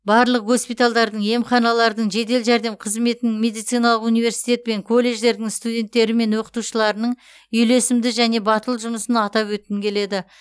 барлық госпиталдардың емханалардың жедел жәрдем қызметінің медициналық университет пен колледждердің студенттері мен оқытушыларының үйлесімді және батыл жұмысын атап өткім келеді